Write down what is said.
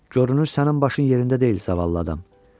Görünür sənin başın yerində deyil səvətli adam.